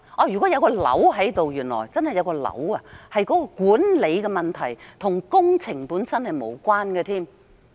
如果原來真的有腫瘤，是管理上的問題，便與工程本身根本無關。